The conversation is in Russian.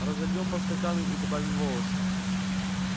разольём по стаканам и добавим волосы